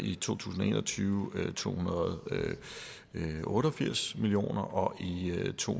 i to tusind og en og tyve to hundrede og otte og firs million kroner og i to